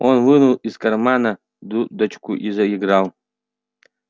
он вынул из кармана дудочку и заиграл